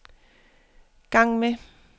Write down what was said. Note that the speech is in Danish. gang med